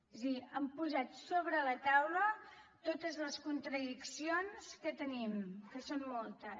és a dir han posat sobre la taula totes les contradiccions que tenim que són moltes